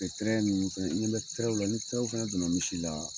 Tɛrɛ ninnu fɛnɛ, i ɲɛ bɛ tɛrɛ la welew la ni tɛrɛw fɛnɛ donna misi la